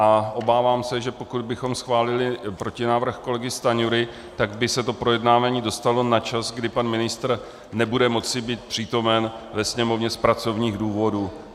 A obávám se, že pokud bychom schválili protinávrh kolegy Stanjury, tak by se to projednávání dostalo na čas, kdy pan ministr nebude moci být přítomen ve Sněmovně z pracovních důvodů.